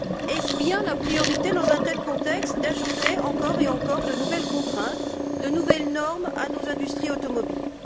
Est ce bien la priorité, dans un tel contexte, d'ajouter encore et encore de nouvelles contraintes, de nouvelles normes à nos industries automobiles?